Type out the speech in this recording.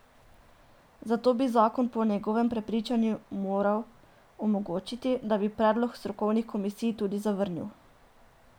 Zato bi zakon po njegovem prepričanju moral omogočiti, da bi predlog strokovnih komisij tudi zavrnil.